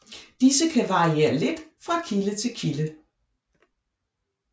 Disse kan variere lidt fra kilde til kilde